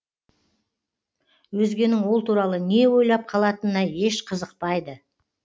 өзгенің ол туралы не ойлап қалатынына еш қызықпайды